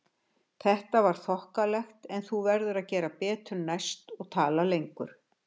Þetta var þokkalegt en þú verður að gera betur næst og tala lengur